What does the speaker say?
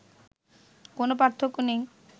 কোনো পার্থক্য নেই